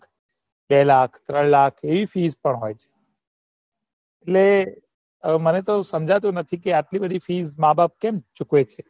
બે લાખ ત્રણ લાખ આવી fees પણ હોય છે એટલે હવે મને સમજાતું નથી આટલી બધી fees માં બાપ કેમ ચુકવે છે